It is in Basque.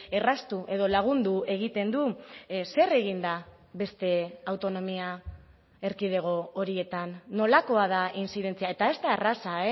erraztu edo lagundu egiten du zer egin da beste autonomia erkidego horietan nolakoa da intzidentzia eta ez da erraza